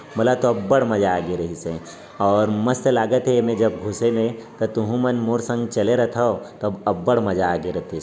मोला तो अब्ब्ड मजा आगे रहीस हे और मस्त लगत है ऐमे जब घुसे मे तुहु मन मोर संग चले रथव तब अब्ब्ड मजा आई गए रतिस।